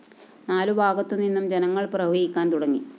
നാലുഭാഗത്തുനിന്നും ജനങ്ങൾ പ്രവഹിക്കാൻ തുടങ്ങി